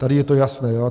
Tady je to jasné.